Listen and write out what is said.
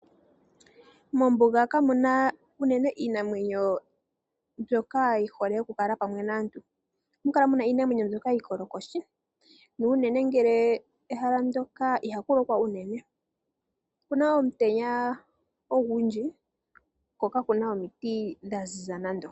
Mombuga kamuna uunene iinamwenyo mbyoka yihole okukala pamwe naantu, ohamukala muna iinamwenyo mbyoka iikolokoshi, nuunene ngele ehala ndoka ihakulokwa uunene. Okuna omutenya ogundji kokakuna omiti dhaziza nando.